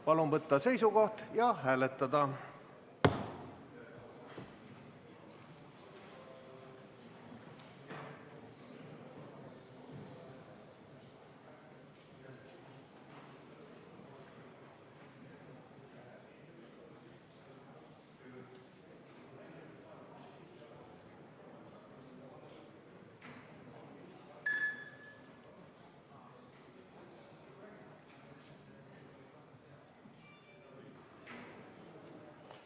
Palun võtta seisukoht ja hääletada!